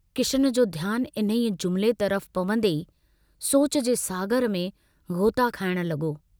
किशन जो ध्यानु इन्हीअ जुमिले तरफ पवन्दे ई सोच जे सागर में ग़ोता खाइण लगो।